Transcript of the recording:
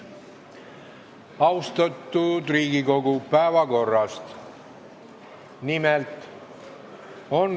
Austatud Riigikogu, päevakorrast.